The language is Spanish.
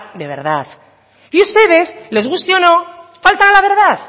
de verdad y ustedes les guste o no faltan a la verdad